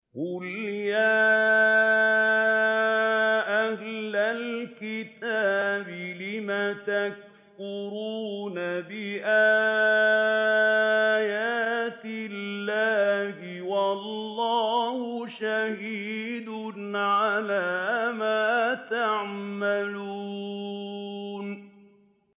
قُلْ يَا أَهْلَ الْكِتَابِ لِمَ تَكْفُرُونَ بِآيَاتِ اللَّهِ وَاللَّهُ شَهِيدٌ عَلَىٰ مَا تَعْمَلُونَ